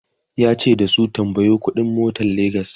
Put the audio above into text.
yace da su"tambayo ƙuɗi n motan legas!"